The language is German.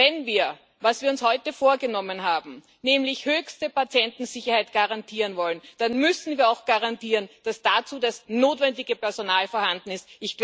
Wenn wir, was wir uns heute vorgenommen haben, nämlich höchste Patientensicherheit garantieren wollen, dann müssen wir auch garantieren, dass das dazu notwendige Personal vorhanden ist.